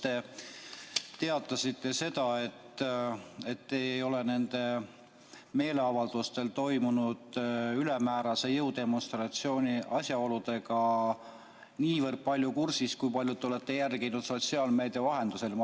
Te teatasite, et te ei ole nendel meeleavaldustel toimunud ülemäärase jõudemonstratsiooni asjaoludega nii palju kursis ja te olete jälginud sotsiaalmeedia vahendusel.